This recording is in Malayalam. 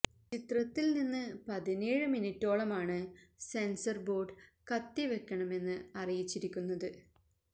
ചിത്രത്തിൽ നിന്ന് പതിനേഴ് മിനിറ്റോളമാണ് സെൻവര് ബോര്ഡ് കത്തി വെക്കണമെന്ന് അറിയിച്ചിരിക്കുന്നത്